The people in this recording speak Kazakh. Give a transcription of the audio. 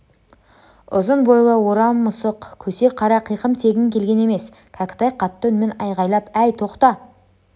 ұзын бойлы орақ тұмсық көсе қара қиқым тегін келген емес кәкітай қатты үнмен айғайлап әй тоқта